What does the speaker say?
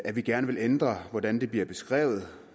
at vi gerne vil ændre hvordan den bliver beskrevet